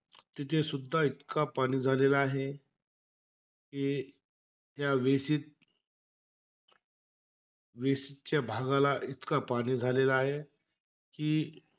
तिथे सुद्धा इतका पाणी झालेला आहे. कि त्या वेशीत, वेशीतच्या भागाला इतका पाणी झालेला आहे कि.